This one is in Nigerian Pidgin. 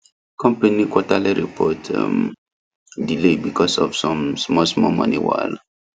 company quarterly report um delay because of some smallsmall money wahala